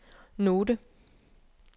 note